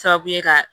Sababu ye ka